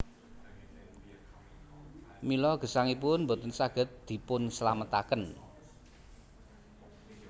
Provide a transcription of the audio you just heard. Mila gesangipun boten saged dipunslametaken